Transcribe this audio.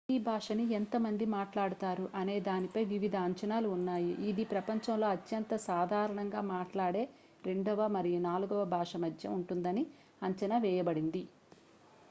హిందీ భాషని ఎంత మంది మాట్లాడుతారు అనే దానిపై వివిధ అంచనాలు ఉన్నాయి ఇది ప్రపంచంలో అత్యంత సాధారణంగా మాట్లాడే రెండవ మరియు నాలుగవ భాష మధ్య ఉంటుందని అంచనా వేయబడింది